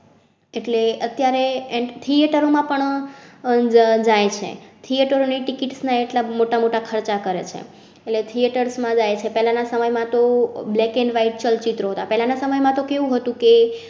એટલે અત્યારે theatre રોમાં પણ હમ જાય છે. theatre રો ની ticket ના એટલા મોટા મોટા ખર્ચા કરેં છે. theatres જાય પહેલા ના સમય માં તો black and white ચલચિત્રો હતા પહેલા ના સમય માં તો કેહ વું હતું કે